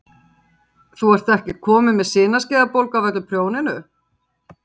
Símon: Þú ert ekkert komin með sinaskeiðabólgu af öllu prjóninu?